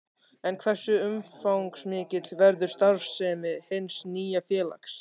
En hversu umfangsmikil verður starfssemi hins nýja félags?